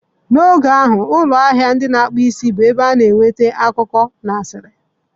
N'oge ahụ, ụlọ ahịa ndị na-akpụ isi bụ ebe a na-enweta akụkọ na asịrị